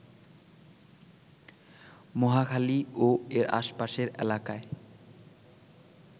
মহাখালী ও এর আশপাশের এলাকায়